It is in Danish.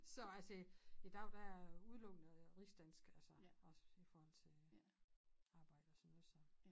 Så altså i dag der er jeg udelukkende rigsdansk altså også i forhold til arbejde og sådan noget så